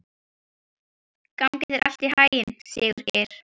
Gangi þér allt í haginn, Sigurgeir.